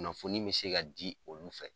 Kunnafoni be se ka ji olu fɛ